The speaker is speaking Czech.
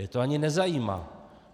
Je to ani nezajímá.